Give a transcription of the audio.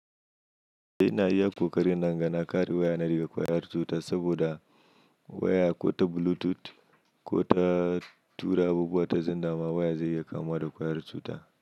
Ina iya ƙoƙari na inga na ƙare waya na daga ƙwayar cuta saboda waya ko ta bulutoot ko ta tura abubuwa ta zenda ma waya zai iya kamuwa da ƙwayar cuta.